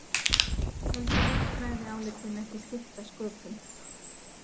Töldu lögfræðiálitin ekki skipta sköpum